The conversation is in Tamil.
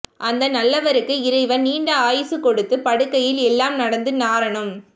அந்த நல்லவருக்கு இறைவன் நீண்ட ஆயுசு கொடுத்து படுக்கையில் எல்லாம் நடந்து நாரனும்